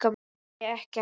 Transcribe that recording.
Heyri ekkert.